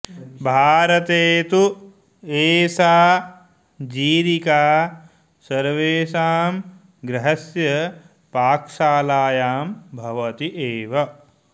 भारते तु एषा जीरिका सर्वेषां गृहस्य पाकशालायां भवति एव